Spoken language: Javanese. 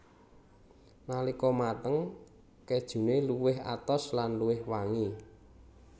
Nalika mateng kejune luwih atos lan luwih wangi